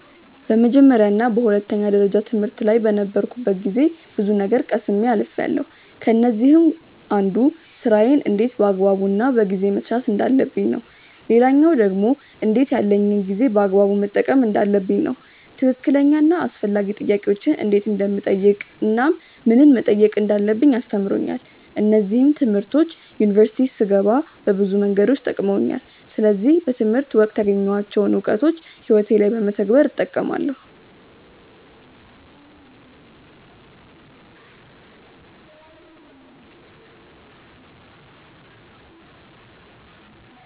በመጀመርያ እና በሁለተኛ ደረጃ ትምህርት ላይ በነበርኩበት ጊዜ ብዙ ነገር ቀስሜ አልፍያለው። ከነዚህም አንዱ ስራዬን እንዴት በአግባቡ እና በጊዜ መስራት እንዳለብኝ ነው። ሌላኛው ደግሞ እንዴት ያለኝን ጊዜ በአግባቡ መጠቀም እንዳለብኝ ነው። ትክክለኛ እና አስፈላጊ ጥያቄዎችን እንዴት እንደምጠይቅ እናም ምንን መጠየቅ እንዳለብኝ አስተምሮኛል። እነዚህም ትምህርቶች ዩኒቨርሲቲ ስገባ በብዙ መንገዶች ጠቅመውኛል። ስለዚህ በትምህርት ወቅት ያገኘኋቸውን እውቀቶች ህይወቴ ላይ በመተግበር እጠቀማለው።